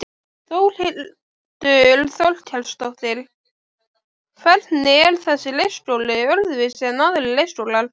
Þórhildur Þorkelsdóttir: Hvernig er þessi leikskóli öðruvísi en aðrir leikskólar?